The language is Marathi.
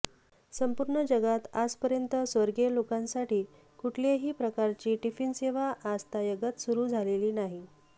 संपूर्ण जगात आजपर्यंत स्वर्गीय लोकांसाठी कुठल्याही प्रकारची टिफिनसेवा आजतायगत सुरू झालेली नाही